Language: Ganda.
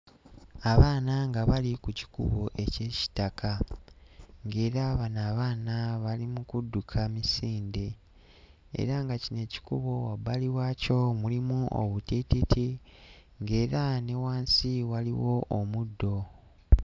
Abaana nga bali ku kikubo eky'ekitaka ng'era bano abaana bali mu kudduka misinde, era nga kino ekikubo wabbali waakyo mulimu obutiititi ng'era ne wansi waliwo omuddo.